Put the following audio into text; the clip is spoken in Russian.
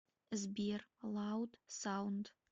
сбер лауд саунд